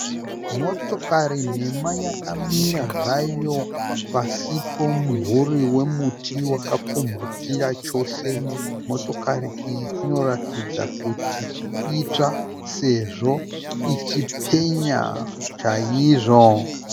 Motokari nhema yakamira zvayo pasi pemumvuri wemuti wakapfumvutira chose. Motokari iyi inoratidza kuti itsva sezvo ichipenya chaizvo.